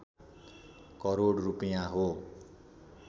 करोड रूपैयाँ हो